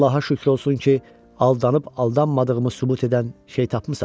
Allaha şükür olsun ki, aldanıb-aldanmadığımı sübut edən şey tapmısan.